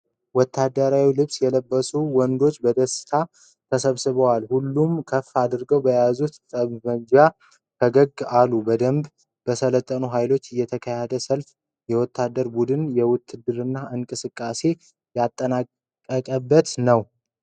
ወታደራዊ ልብስ የለበሱ ወንዶች በደስታ ተሰብስበዋል። ሁሉም ከፍ አድርገው በያዙት ጠብመንጃ ፈገግ አሉ። በደንብ በሰለጠነ ሃይል የተካሄደ ሰልፍ የወታደር ቡድን የውትድርናውን እንቅስቃሴ ያጠናቀቀበት ነው።